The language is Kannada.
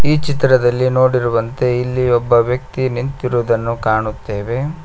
ಈ ಚಿತ್ರದಲ್ಲಿ ನೋಡಿರುವಂತೆ ಇಲ್ಲಿ ಒಬ್ಬ ವ್ಯಕ್ತಿ ನಿಂತಿರುವುದನ್ನು ಕಾಣುತ್ತೇವೆ.